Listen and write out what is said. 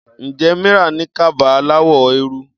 Ǹjẹ́ Mira ní kaba aláwọ̀ eérú?